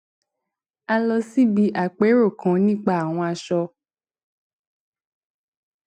a lọ síbi àpérò kan nípa àwọn aṣọ